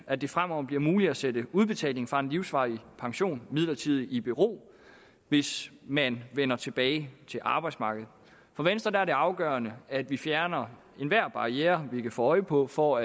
at det fremover bliver muligt at sætte udbetaling fra en livsvarig pension midlertidigt i bero hvis man vender tilbage til arbejdsmarkedet for venstre er det afgørende at vi fjerner enhver barriere vi kan få øje på for